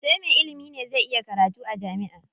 Sai me ilimi ne zai iya karatu jami'a.